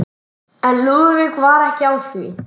En Lúðvík var ekki á því.